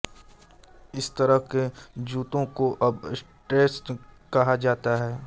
इस तरह के जूतों को अब स्ट्रेट्स कहा जाता है